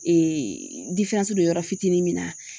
Ee diferansi do yɔrɔ fitinin min na